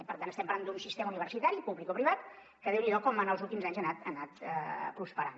per tant estem parlant d’un sistema universitari publicoprivat que déu n’hi do com en els últims anys ha anat prosperant